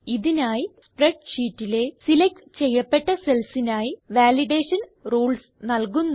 ഇതിനായി സ്പ്രെഡ്ഷീറ്റിലെ സിലക്റ്റ് ചെയ്യപ്പെട്ട cellsനായി വാലിഡേഷൻ റൂൾസ് നല്കുന്നു